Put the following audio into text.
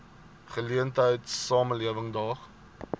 geleentheid samelewing daag